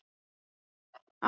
Átti ég annars ekki heima hér?